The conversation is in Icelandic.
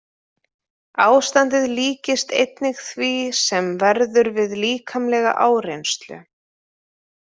Ástandið líkist einnig því sem verður við líkamlega áreynslu.